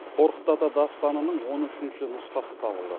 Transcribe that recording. қорқыт ата дастанының он үшінші нұсқасы табылды